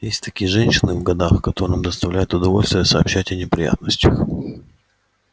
есть такие женщины в годах которым доставляет удовольствие сообщать о неприятностях